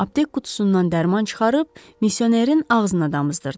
Aptek qutusundan dərman çıxarıb misionerin ağzına damızdırdı.